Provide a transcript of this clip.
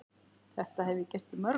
Þetta hef ég gert í mörg ár.